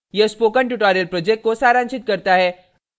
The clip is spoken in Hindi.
यह spoken tutorial project को सारांशित करता है